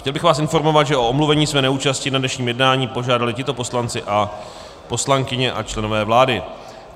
Chtěl bych vás informovat, že o omluvení své neúčasti na dnešním jednání požádali tito poslanci a poslankyně a členové vlády.